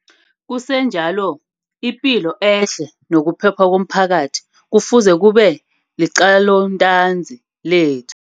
Kusenjalo, ipilo ehle nokuphepha komphakathi kufuze kube liqalontanzi lethu.